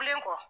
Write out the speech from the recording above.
Len kɔ